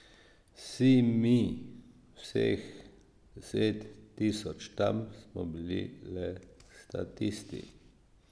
Vsi mi, vseh deset tisoč tam, smo bili le statisti!